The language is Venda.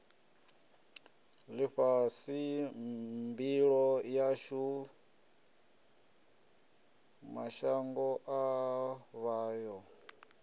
ḽifhasi mbilo yashu mashangoḓavha yo